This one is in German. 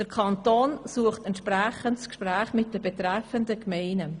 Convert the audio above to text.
Der Kanton sucht entsprechend das Gespräch mit den betreffenden Gemeinden.